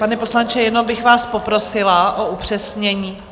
Pane poslanče, jenom bych vás poprosila o upřesnění...